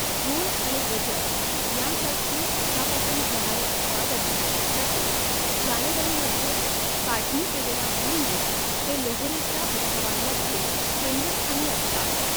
गूळ आणि गजक यांसारखी उसापासून होणारी उत्पादने, तसेच जानेवारीमध्ये काढणी केलेला भुईमूग, हे लोहरीच्या उत्सवांमध्ये केंद्रस्थानी असतात.